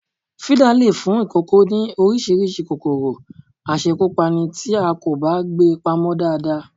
Fídà lè fún ìkòkò ní Oríṣiríṣi kòkòrò àṣẹ́kùpani tí a kò bá gbé pamọ́ dáadáa